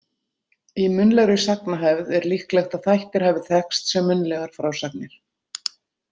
Í munnlegri sagnahefð er líklegt að þættir hafi þekkst sem munnlegar frásagnir.